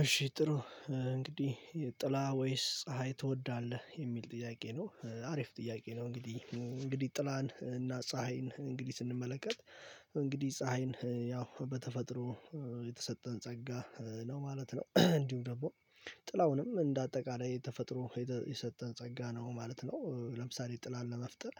እሺ ጥሩ እንግዲህ ጥላ ወይስ ፀሀይ ትወዳለህ የሚል ጥያቄ ነው አሪፍ ጥያቄ ነው። እንግዲህ እንግዲህ ጥላን እና ፀሀይን እንግዲህ ስንመለከት እንግዲህ ፀሀይን ያው በተፈጥሮ የተሰጠን ጸጋ ነው ማለት ነው። እንዲሁ ደግሞ ጥላውንም እንደ አጠቃላይ ተፈጥሮ የሰጠን ጸጋ ነው ማለት ነው። ለምሳሌ ጥላን ለመፍጠር